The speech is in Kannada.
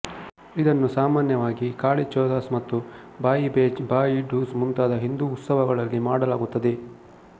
ಇದನ್ನು ಸಾಮಾನ್ಯವಾಗಿ ಕಾಳಿ ಚೌದಾಸ್ ಮತ್ತು ಭಾಯಿಬೆಜ್ ಭಾಯಿ ಡೂಜ್ ಮುಂತಾದ ಹಿಂದೂ ಉತ್ಸವಗಳಲ್ಲಿ ಮಾಡಲಾಗುತ್ತದೆ